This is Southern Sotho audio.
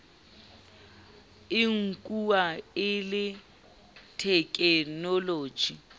e nkuwa e le thekenoloji